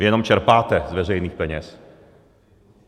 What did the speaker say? Vy jenom čerpáte z veřejných peněz.